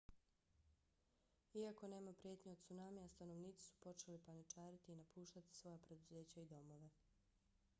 iako nema prijetnje od cunamija stanovnici su počeli paničariti i napuštati svoja preduzeća i domove